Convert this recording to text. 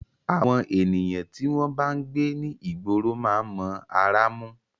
Àwọn ènìyàn tí wọ́n bá ń gbé ní ìgboro máa ń mọ ará mú.